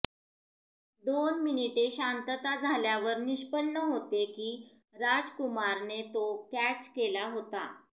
दोन मिनीटे शांतता झाल्यावर निष्पन्न होते की राजकुमारने तो कॅच केला आहे